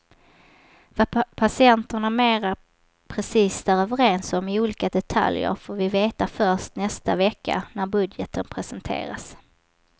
Vad partierna mera precist är överens om i olika detaljer får vi veta först nästa vecka när budgeten presenteras.